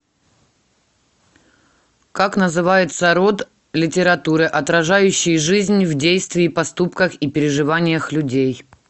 как называется род литературы отражающий жизнь в действии поступках и переживаниях людей